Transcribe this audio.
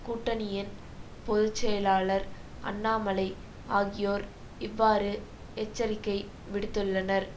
கூட்டணியின் பொது செயலாளர் அண்ணாமலை ஆகியோர் இவ்வாறு எச்சரிக்கை விடுத்துள்ளனர்